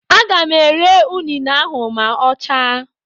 Aga m ere unine ahụ ma ọ chaa.